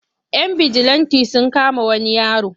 Yan bijilanti sun kama wani yaro.